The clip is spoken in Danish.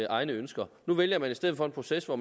egne ønsker nu vælger man i stedet for en proces hvor